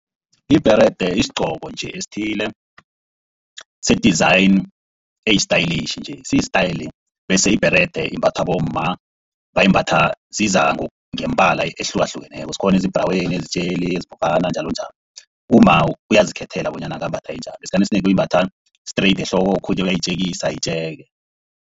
Ibherede sigqoko nje esithile se-design eyisitayela nje. Sistayela bese, ibherede imbathwa bomma bayimbatha zizangombala ehlukahlukeneko. Zikhona esibhraweni, ezitjheli, ezibolekana njalonjalo. Umma uyazikhethela bonyana angambatha enjani. Esikhathini esinengi uyimbatha straight ehloko okhunye uyayitjekisa itjeke.